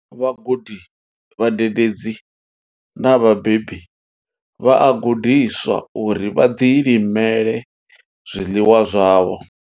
Vhagudi, vhadededzi na vhabebi vha a gudiswa uri vha ḓilimele zwiḽiwa zwavho.